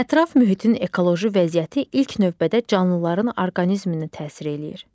Ətraf mühitin ekoloji vəziyyəti ilk növbədə canlıların orqanizminə təsir eləyir.